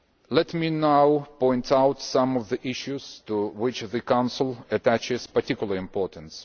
Let me now point out some of the issues to which the Council attaches particular importance.